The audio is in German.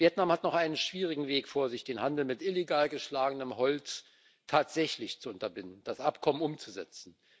Vietnam hat noch einen schwierigen Weg vor sich, den Handel mit illegal geschlagenem Holz tatsächlich zu unterbinden und das Abkommen umzusetzen.